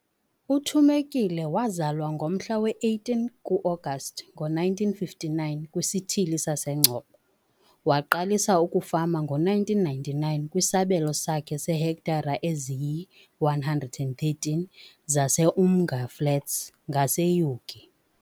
UThumekile wazalwa ngomhla we-18 kuAgasti ngo-1959 kwisithili sase-Engcobo. Waqalisa ukufama ngo-1999 kwisabelo sakhe seehektare eziyi-113 zaseUmnga Flats ngaseUgie.